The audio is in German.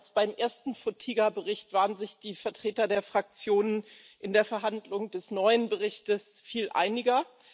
Anders als beim ersten Bericht Fotyga waren sich die Vertreter der Fraktionen in der Verhandlung des neuen Berichts viel einiger.